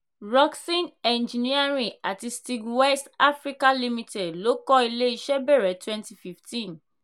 rockson engineering àti steag west africa limited ló kọ ilé iṣẹ́ bẹ̀rẹ twenty fifteen.